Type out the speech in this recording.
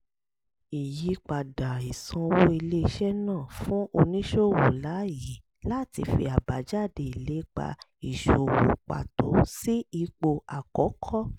ìyípadà ìsanwó ilé-iṣẹ́ náà fún oníṣòwò láyè láti fi àbájáde ìlépa ìsòwò pàtó sí ipò àkọ́kọ́